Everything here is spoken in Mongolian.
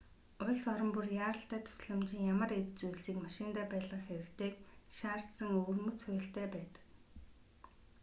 улс орон бүр яаралтай тусламжийн ямар эд зүйлсийг машиндаа байлгах хэрэгтэйг шаардсан өвөрмөц хуультай байдаг